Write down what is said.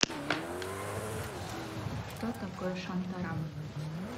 что такое шантарам